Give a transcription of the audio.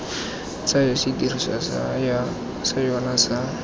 tsayang sedirisiwa sa yona sa